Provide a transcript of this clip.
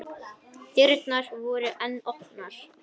Dyrnar voru enn opnar.